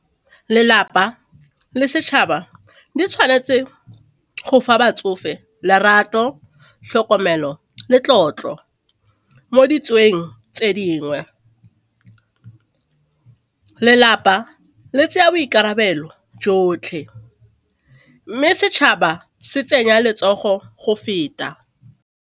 Lelapa le setšhaba di tshwanetse go fa batsofe lerato, tlhokomelo le tlotlo mo tse dingwe. Lelapa le tsaya boikarabelo jotlhe mme setšhaba se tsenya letsogo go feta.